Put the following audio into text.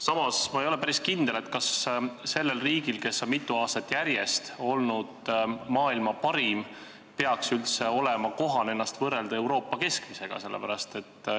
Samas ei ole ma päris kindel, kas sellel riigil, kes on mitu aastat järjest olnud maailma parim, peaks üldse olema kohane ennast võrrelda Euroopa keskmisega.